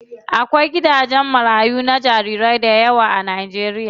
Akwai gidajen marayu na jarirai dayawa a Najeriya.